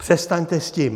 Přestaňte s tím!